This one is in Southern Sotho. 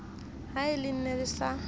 ha le ne le sa